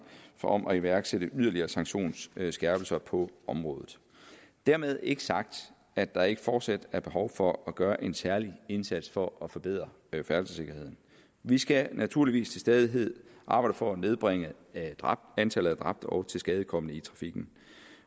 om at iværksætte yderligere sanktionsskærpelser på området dermed ikke sagt at der ikke fortsat er behov for at gøre en særlig indsats for at forbedre færdselssikkerheden vi skal naturligvis til stadighed arbejde for at nedbringe antallet af dræbte og tilskadekomne i trafikken